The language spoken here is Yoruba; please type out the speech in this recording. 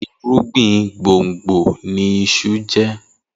Irúgbìn gbùngbùn ni iṣu jẹ́.